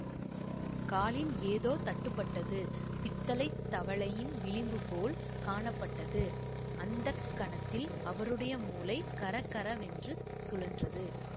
காலில் ஏதோ தட்டுப்பட்டது பித்தளைத் தவளையின் விளிம்புபோல் காணப்பட்டது அந்த கணத்தில் அவருடைய மூளை கறகறவென்று சுழன்றது